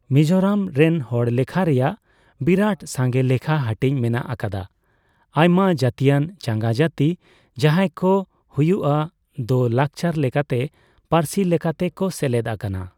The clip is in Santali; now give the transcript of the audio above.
ᱢᱤᱡᱳᱨᱟᱢ ᱨᱮᱱ ᱦᱚᱲᱞᱮᱠᱷᱟ ᱨᱮᱭᱟᱜ ᱵᱤᱨᱟᱹᱴ ᱥᱟᱸᱜᱮ ᱞᱮᱠᱷᱟ ᱦᱟᱹᱴᱤᱧ ᱢᱮᱱᱟᱜ ᱟᱠᱟᱫᱟ ᱟᱭᱢᱟ ᱡᱟᱹᱛᱤᱭᱟᱱ ᱪᱟᱸᱜᱟ ᱡᱟᱹᱛᱤ ᱡᱟᱦᱟᱸᱭᱠᱚ ᱦᱩᱭᱩᱜᱼᱟ ᱫᱚ ᱞᱟᱠᱪᱟᱨ ᱞᱮᱠᱟᱛᱮ ᱥᱮ ᱯᱟᱹᱨᱥᱤ ᱞᱮᱠᱟᱛᱮ ᱠᱚ ᱥᱮᱞᱮᱫ ᱟᱠᱟᱱᱟ ᱾